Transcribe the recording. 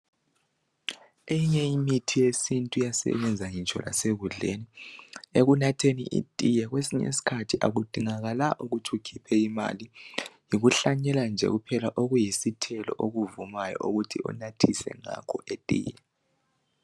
Eyinye imithi yesintu iyasebenza ngitsho lase kudleni. Ekunatheni itiye kwesinye skhathi akudingakala ukuthi ukhiphe imali. Yikuhlanyela nje okuyisithelo okuvumayo ukuthi unathise ngakho itiye.